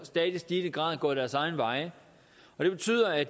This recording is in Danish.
stadig stigende grad gået deres egne veje og det betyder at